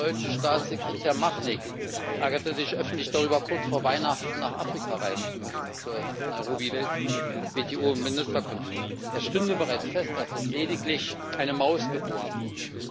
Der deutsche Staatssekretär Machnig ärgerte sich öffentlich darüber, kurz vor Weihnachten nach Afrika reisen zu müssen, zur WTO Ministerkonferenz in Nairobi. Es stünde bereits fest, dass dort lediglich eine Maus geboren wird.